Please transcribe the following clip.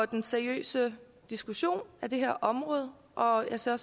den seriøse diskussion af det her område og jeg ser